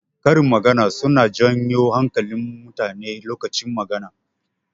Karin magana suna janyo hankalin mutane lokacin magana.